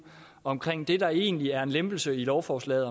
omkring det der egentlig er en lempelse i lovforslaget